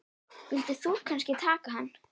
Vildir þú kannski taka hann?